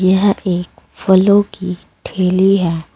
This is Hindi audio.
यह एक फलों की ठेली है।